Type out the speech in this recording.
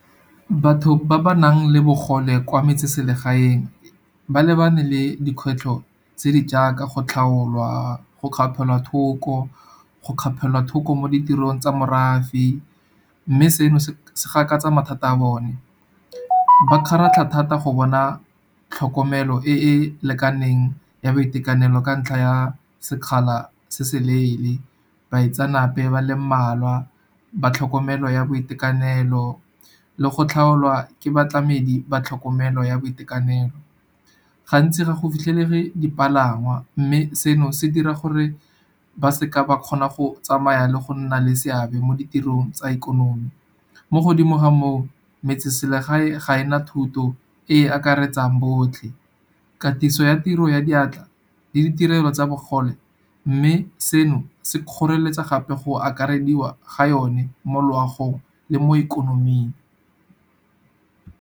Batho ba ba nang le bogole kwa metseselegaeng, ba lebane le dikgwetlho tse di jaaka go tlhaolwa, go kgapelwa thoko, go kgapelwa thoko mo ditirong tsa morafe, mme seno se gakatsa mathata a bone. Ba kgaratlha thata go bona tlhokomelo e e lekaneng ya boitekanelo, ka ntlha ya sekgala se se leele. Baitsanape ba le mmalwa ba tlhokomelo ya boitekanelo le go tlhaolwa ke batlamedi ba tlhokomelo ya boitekanelo. Gantsi ga go fitlhelege dipalangwa mme seno se dira gore ba seka ba kgona go tsamaya le go nna le seabe mo ditirong tsa ikonomi. Mo godimo ga moo, metseselegae ga e na thuto e e akaretsang botlhe. Katiso ya tiro ya diatla le ditirelo tsa bogole, mme seno se kgoreletsa gape go akarediwa ga yone mo loagong le mo ikonoming.